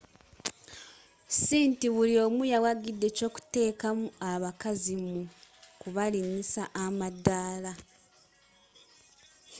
ss inti buli omu yawagidde ekyokuteekamu abakazi mu kubalinyisa amadaala